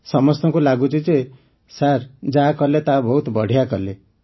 ସମସ୍ତଙ୍କୁ ଲାଗୁଛି ଯେ ସାର୍ ଯାହା କଲେ ତାହା ବହୁତ ବଢ଼ିଆ କଲେ